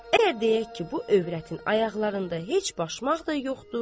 Əgər deyək ki, bu övrətin ayaqlarında heç başmaq da yoxdur.